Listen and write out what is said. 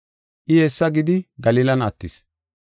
I hessa gidi Galilan attis.